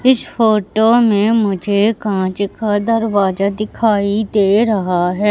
इस फोटो में मुझे कांच का दरवाजा दिखाई दे रहा है।